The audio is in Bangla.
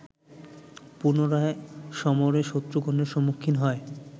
পুনরায় সমরে শত্রুগণের সম্মুখীন হয়